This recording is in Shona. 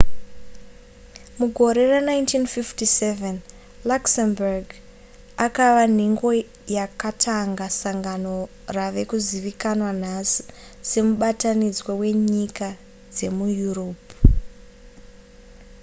mugore ra1957 luxembourg akava nhengo yakatanga sangano rave kuzivikanwa nhasi semubatanidzwa wenyika dzemuyuropu